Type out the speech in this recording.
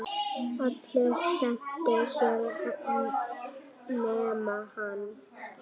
Allir skemmtu sér nema hann.